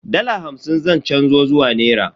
Dala hamsin zan canzo zuwa nera.